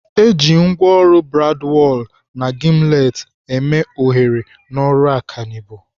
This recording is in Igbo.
Eji ngwaọrụ bradwal na gimlet eme oghere n'ọrụ ọkanibo.